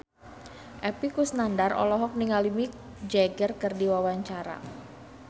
Epy Kusnandar olohok ningali Mick Jagger keur diwawancara